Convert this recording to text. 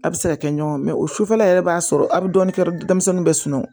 A bɛ se ka kɛ ɲɔgɔn mɛ o sufɛla yɛrɛ b'a sɔrɔ a bɛ dɔɔnin kɛ denmisɛnninw bɛ sunɔgɔ